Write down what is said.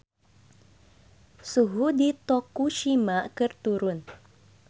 Suhu di Tokushima keur turun